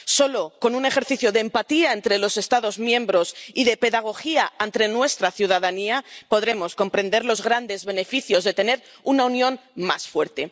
Solo con un ejercicio de empatía entre los Estados miembros y de pedagogía ante nuestra ciudadanía podremos comprender los grandes beneficios de tener una Unión más fuerte.